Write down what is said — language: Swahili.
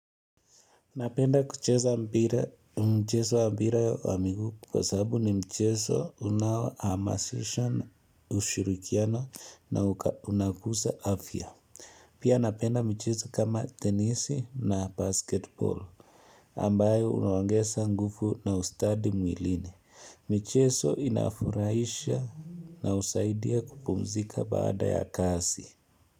Napenda kucheza mpira mchezo wa mpira wa miguu kwa sababu ni mchezo unaohamasisha na ushirikiano na unakuza afya. Pia napenda michezo kama tenisi na basketbol ambayo unaongeza nguvu na ustadi mwilini. Michezo inafurahisha na usaidia kupumzika baada ya kasi.